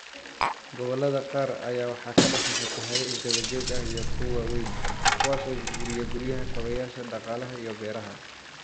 Gobollada qaar ayaa waxaa ka dhasha fatahaado isdaba joog ah iyo kuwo waaweyn, kuwaas oo burburiya guryaha, kaabayaasha dhaqaalaha iyo beeraha.